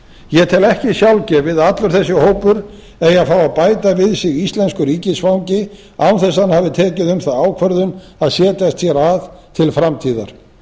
tel ekki sjálfgefið að allur þessi hópur eigi að fá að bæta við sig íslensku ríkisfangi án þess að hann hafi tekið um það ákvörðun að setjast hér að til framtíðar